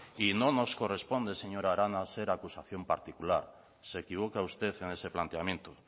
y no nos corresponde señora arana ser acusación particular se equivoca usted en ese planteamiento